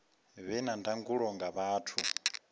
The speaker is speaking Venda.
vhe na ndangulo nga vhathu